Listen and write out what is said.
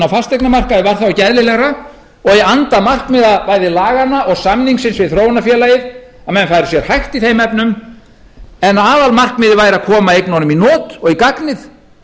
á fasteignamarkaði var þá ekki eðlilegra og í anda markmiða bæði laganna og samningsins við þróunarfélagið að menn færu sér hægt í þeim efnum en aðalmarkmiðið væri að koma eignunum í not og í gagnið